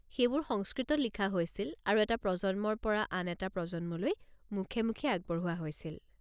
সেইবোৰ সংস্কৃতত লিখা হৈছিল আৰু এটা প্ৰজন্মৰ পৰা আন এটা প্ৰজন্মলৈ মুখে মুখে আগবঢ়োৱা হৈছিল।